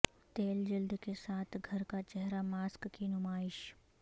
تیل جلد کے ساتھ گھر کا چہرہ ماسک کی نمائش